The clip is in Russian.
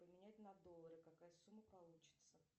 поменять на доллары какая сумма получится